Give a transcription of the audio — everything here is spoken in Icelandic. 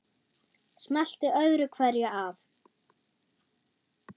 Smellti öðru hverju af.